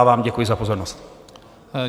Děkuji za pozornost.